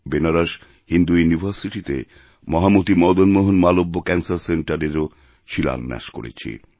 বেনারস হিন্দু ইউনিভার্সিটিতেমহামতি মদনমোহন মালব্য ক্যানসার সেন্টারএরও শিলান্যাস করেছি